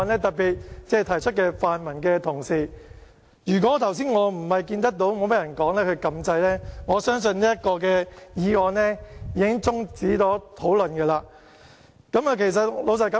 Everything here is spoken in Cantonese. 特別是提出的泛民同事，如果我剛才不是看到沒有議員發言，而我按掣示意想發言的話，相信這項議案已經終止辯論。